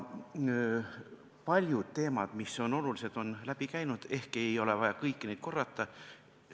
Paljud teemad, mis on olulised, on siit läbi käinud ja ehk ei ole vaja kõiki neid korrata.